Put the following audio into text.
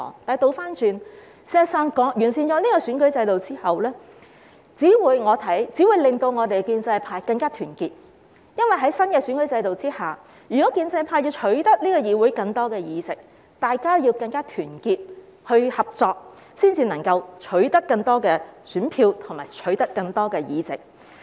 相反，我認為完善選舉制度之後，只會令建制派更加團結，因為在新的選舉制度下，如果建制派要取得議會更多的議席，大家要更加團結合作，才能夠取得更多選票和議席。